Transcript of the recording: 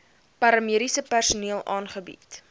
paramediese personeel aangebied